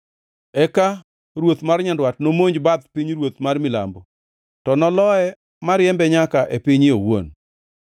Eka ruoth mar Nyandwat nomonj bath pinyruoth mar Milambo, to noloye moriembe nyaka e pinye owuon.